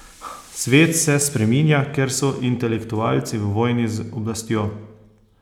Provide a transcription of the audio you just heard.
Svet se spreminja, ker so intelektualci v vojni z oblastjo.